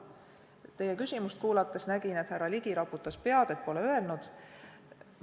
Teie küsimust kuulates nägin, et härra Ligi raputas pead, et pole öelnud.